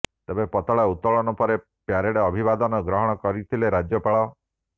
ତେବେ ପତାକା ଉତ୍ତୋଳନ ପରେ ପରେଡ ଅଭିବାଦନ ଗ୍ରହଣ କରିଥିଲେ ରାଜ୍ୟପାଳ